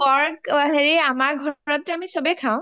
অ pork হেৰি আমাৰ ঘৰতটো আমি চবেই খাওঁ